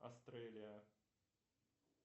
астрелия